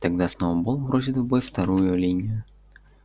тогда сноуболл бросит в бой вторую линию